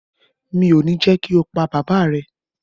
mi ò ní jẹ́ kí o pa bàbáà rẹ.